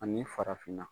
Ani farafinna